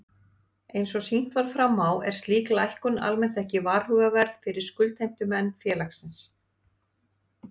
Eins og sýnt var fram á er slík lækkun almennt ekki varhugaverð fyrir skuldheimtumenn félagsins.